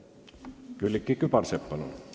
Külliki Kübarsepp, palun!